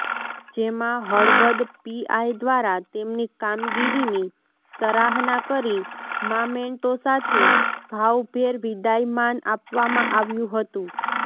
જેમાં હળવદ પીઆઇ દ્વારા તેમની કામગીરીની સરાહના કરી મામેન્ટો સાથે ભાવભેર વિદાયમાન આપવામાં આવ્યું હતુ